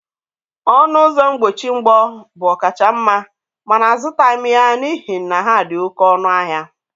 Ọnụ ụzọ mgbochi mgbọ bụ ọkachamma mana azụtaghị m ya n'ihi na ha dị oké ọnụ ahịa.